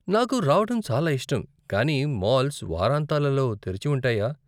నాకు రావటం చాలా ఇష్టం, కానీ మాల్స్ వారాంతాలలో తెరిచి ఉంటాయా?